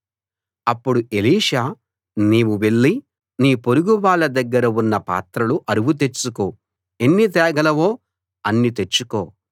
అప్పుడు ఎలీషా నీవు వెళ్ళి నీ పొరుగు వాళ్ళ దగ్గర ఉన్న పాత్రలు అరువు తెచ్చుకో ఎన్ని తేగలవో అన్ని తెచ్చుకో